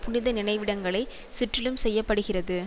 புனித நினைவிடங்களை சுற்றிலும் செய்ய படுகிறது